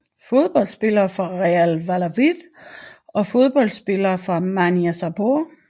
Fodboldspillere fra Real Valladolid Fodboldspillere fra Manisaspor